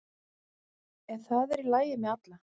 En það er í lagi með alla